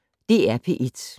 DR P1